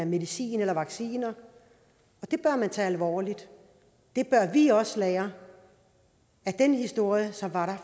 medicin eller vacciner og det bør man tage alvorligt det bør vi også lære af den historie som var